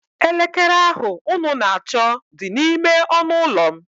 Elekere ahụ unu na-achọ dị n'ime ọnụụlọ m